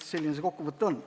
Selline see kokkuvõte on.